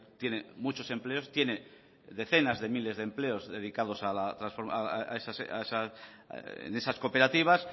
tiene muchos empleos tiene decenas de miles de empleos dedicados en esas cooperativas